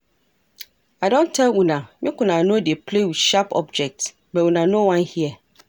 I don tell una make una no dey play with sharp objects but una no wan hear